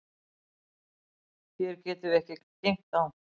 Hér getum við ekki geymt þá.